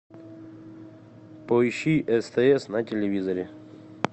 поищи стс на телевизоре